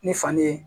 Ni faden ye